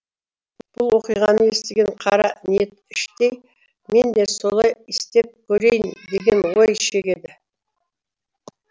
бұл оқиғаны естіген қара ниет іштей мен де солай істеп көрейін деген ой шегеді